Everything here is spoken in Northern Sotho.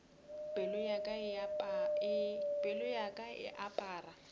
pelo ya ka e apara